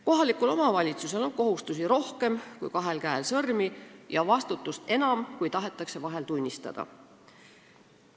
Kohalikul omavalitsusel on kohustusi rohkem kui kahel käel sõrmi ja vastutust enam, kui tahetakse vahel tunnistada.